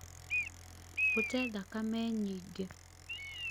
gũte thakame nyingĩ